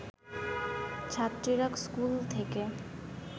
ছাত্রীরা স্কুল থেকে